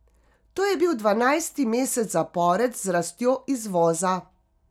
To je bil dvanajsti mesec zapored z rastjo izvoza.